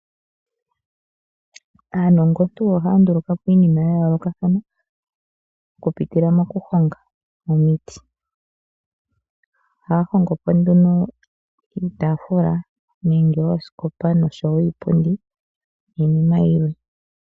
Aanongontu oha ya nduluka po iinima ya yoolokathana oku pitila mokuhonga omiti. Ohaya hongo po nduno iitaafula nenge oosikopa osho wo iipundi niinima yilwe.